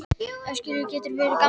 Öskjuhlíð getur verið gamalt nafn.